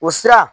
O sira